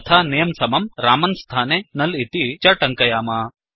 तथा नमे समं रामन् स्थाने नुल् इति च टङ्कयाम